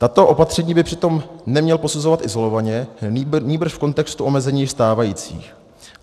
Tato opatření by přitom neměl posuzovat izolovaně, nýbrž v kontextu omezení stávajících.